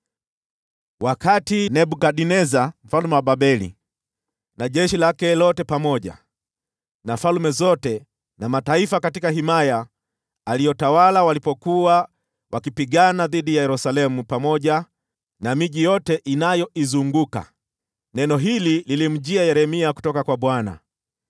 Wakati Nebukadneza mfalme wa Babeli na jeshi lake lote, pamoja na falme zote na mataifa katika himaya aliyotawala walipokuwa wakipigana dhidi ya Yerusalemu pamoja na miji yote inayoizunguka, neno hili lilimjia Yeremia kutoka kwa Bwana :